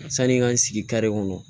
Sani n ka n sigi kare kɔnɔ